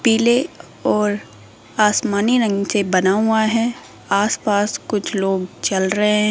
पीले और आसमानी रंग से बना हुआ है आसपास कुछ लोग चल रहे हैं।